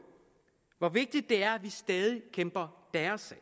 hvor vigtigt det er at vi stadig kæmper deres